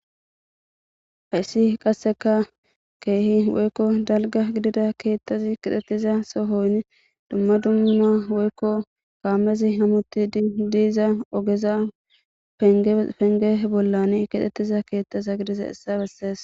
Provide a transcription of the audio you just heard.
Hayssi qasseka keehi woykko dalga gidida keettazi kixettiza sohoynn dumma dumma woykko gaamezi hamutti didiiza ogeza penge bollan kixettiza keettaza gidiza issa bessees.